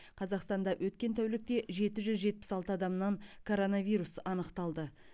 қазақстанда өткен тәулікте жеті жүз жетпіс алты адамнан коронавирус анықталды